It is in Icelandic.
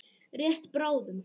Rétt bráðum.